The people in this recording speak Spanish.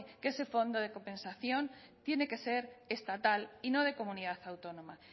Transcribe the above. que ese fondo de compensación tiene que ser estatal y no de comunidad autónoma